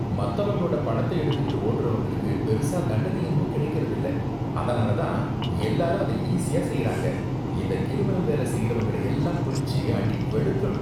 மத்தவங்களோட பணத்தை எடுத்துக்கிட்டு ஓடுறவங்களுக்கு பெருசா தண்டனை எதுவும் கிடைக்கறதில்ல, அதனால தான் எல்லாரும் அத ஈசியா செய்யுறாங்க. இந்த கிரிமினல் வேலை செய்யுறவங்கள எல்லாம் பிடிச்சு அடி வெளுக்கணும்.